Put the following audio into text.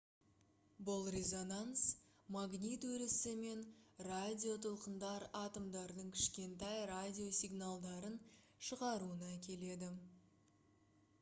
бұл резонанс магнит өрісі мен радиотолқындар атомдардың кішкентай радио сигналдарын шығаруына әкеледі